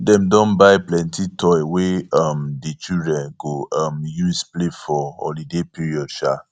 dem don buy plenty toy wey um di children go um use play for holiday period um